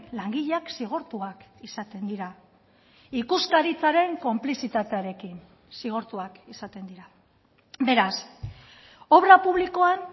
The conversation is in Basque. langileak zigortuak izaten dira ikuskaritzaren konplizitatearekin zigortuak izaten dira beraz obra publikoan